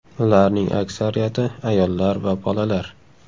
Ularning aksariyati ayollar va bolalar.